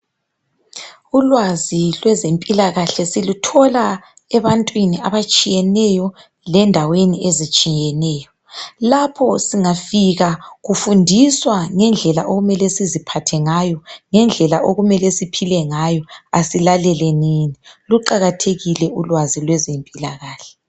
Ulwazi lwezempilakahle, siluthola ebantwini abatshiyeneyo. Lendaweni ezitshiyeneyo. Lapho singafika kufundiswa ngendlela okumele siziphathe ngayo. Ngendlela okumele siphile ngayo. Kasilaleleni. Luqakathekile ulwazi, lwezempilakahle.